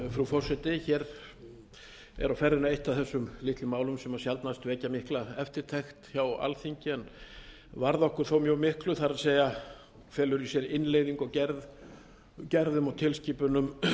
frú forseti hér er á ferðinni eitt af þessum litlu málum sem sjaldnast vekja mikla eftirtekt hjá alþingi en varða okkur þó mjög miklu það er felur í sér innleiðingu á gerðum og tilskipunum